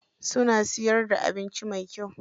Suna siyar da abinci mai kyau.